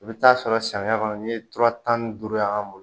I bɛ taa sɔrɔ samiya kɔnɔ n'i ye tura tan ni duuru y'an bolo